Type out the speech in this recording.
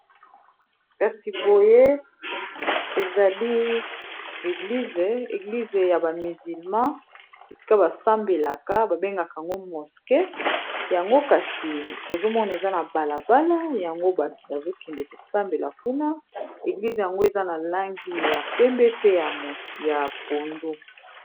Kasi boye ezali ieglize ya ba mizilma esika basambelaka, babengaka yango moske yango kasi tozomona eza na balabala yango bato bazokende kosambela kuna eglize yango eza na langi ya pembe, pe ya pondo.